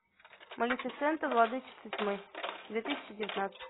малефисента владычица тьмы две тысячи девятнадцать